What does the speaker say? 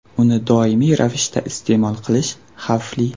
Uni doimiy ravishda iste’mol qilish xavfli.